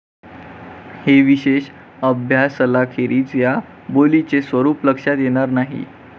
हे विशेष अभ्यासलाखेरीज या बोलीचे स्वरूप लक्षात येणार नाही.